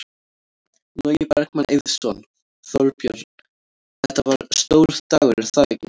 Logi Bergmann Eiðsson: Þorbjörn, þetta var stór dagur er það ekki?